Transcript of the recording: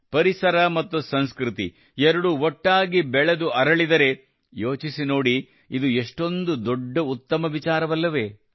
ಪರಿಸರ ಮತ್ತು ಸಂಸ್ಕೃತಿ ಎರಡೂ ಒಟ್ಟಾಗಿ ಬೆಳೆದು ಅರಳಿದರೆ ಯೋಚಿಸಿ ನೋಡಿಇದು ಎಷ್ಟೊಂದು ದೊಡ್ಡ ಉತ್ತಮ ವಿಚಾರವಲ್ಲವೇ